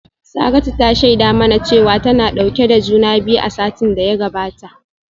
Saratu ta shaida mana cewa tana dauke da juna biyu a satin da ya gabata